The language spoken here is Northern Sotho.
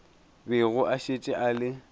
bego a šetše a le